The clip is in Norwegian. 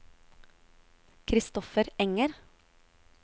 Christoffer Enger